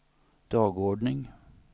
dagordning